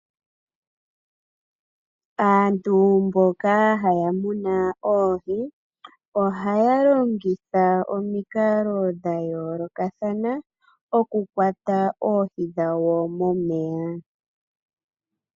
Aantu mboka haya munu oohi, ohaya longitha omikalo dhayoolokathana okukwata oohi dhawo momeya.